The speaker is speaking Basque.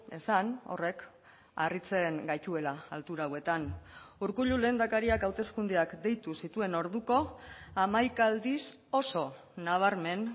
esan horrek harritzen gaituela altura hauetan urkullu lehendakariak hauteskundeak deitu zituen orduko hamaika aldiz oso nabarmen